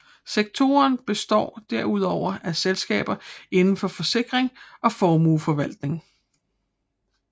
Sektoren består derudover af selskaber inden for forsikring og formueforvaltning